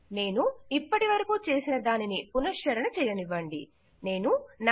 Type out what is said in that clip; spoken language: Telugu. నేను ఇప్పటి వరకు చేసిన దానిని పునఃశ్చరణ చెయ్యనివ్వండిగుర్తుచేసుకుందాం